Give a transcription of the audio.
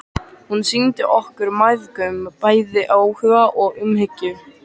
Hún sýndi okkur mæðgum bæði áhuga og umhyggju.